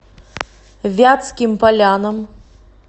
вятским полянам